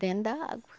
Dentro da água.